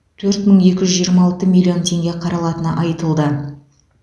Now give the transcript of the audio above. төрт мың екі жүз жиырма алты миллион теңге қаралатыны айтылды